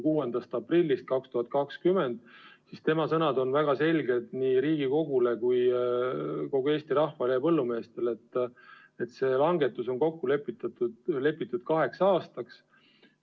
6. aprillil 2020 ütles ta väga selgelt nii Riigikogule kui ka kogu Eesti rahvale ja põllumeestele: see langetus on kokku lepitud kaheks aastaks.